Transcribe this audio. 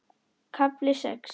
KAFLI SEX